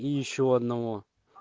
и ещё одного